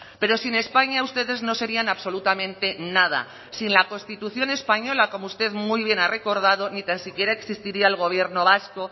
pero sin españa ustedes no serían absolutamente nada sin la constitución española como usted muy bien ha recordado ni tan siquiera existiría el gobierno vasco